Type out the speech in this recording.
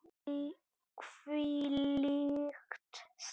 Hvílíkt stress!